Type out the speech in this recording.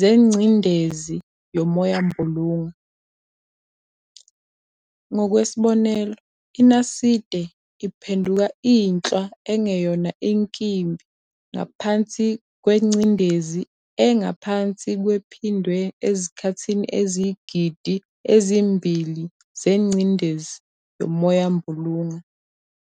zengcindezi yomoyambulunga. Ngokwesibonelo, INaside, iphenduka inhlwa engeyona inkimbi ngaphansi kwengcindezi engaphansi kwephindwe izikhathi eziyizigidi ezimbili zengcendiz yomoyambulunga.